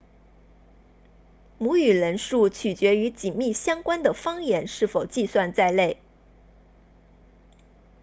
母语人数取决于紧密相关的方言是否计算在内